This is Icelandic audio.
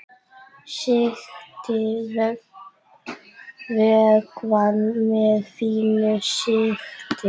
Sigtið vökvann með fínu sigti.